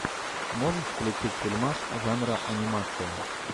можешь включить фильмас жанра анимация